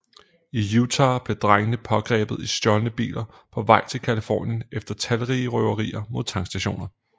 I Utah blev drengene pågrebet i stjålne biler på vej til Californien efter talrige røverier mod tankstationer